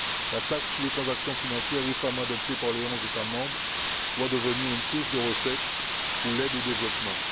La taxe sur les transactions financières récemment adoptée par les onze États membres doit devenir une source de recettes pour l'aide au développement.